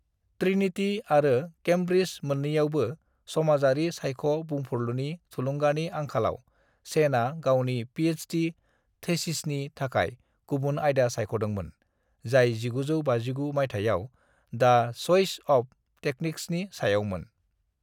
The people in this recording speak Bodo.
"ट्रिनिटी आरो कैम्ब्रिज मोननैयावबो समाजारि सायख' बुंफुरलुनि थुलुंगानि आंखालाव , सेनआ गावनि पिएचडि थीसिसनि थाखाय गुबुन आयदा सायख'दोंमोन, जाय 1959 माइथायाव द चइस अफ टेक्निक्सनि सायावमोन।"